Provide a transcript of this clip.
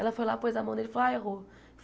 Ela foi lá, pôs a mão nele e falou, ah, errou.